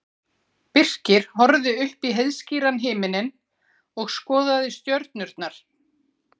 Birkir horfði upp í heiðskíran himininn og skoðaði stjörnurnar.